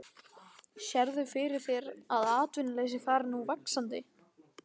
Björn: Sérðu fyrir þér að atvinnuleysi fari nú vaxandi?